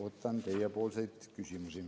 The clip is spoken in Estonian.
Ootan teiepoolseid küsimusi.